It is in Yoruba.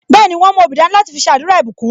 Bẹẹni, wọn mú obì dání láti fi ṣe àdúrà ìbùkún